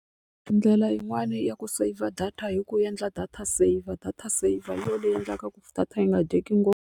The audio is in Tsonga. Ndlela yin'wani ya ku saver data hi ku endla data saver data saver hi yona leyi endlaka ku data yi nga dyeki ngopfu.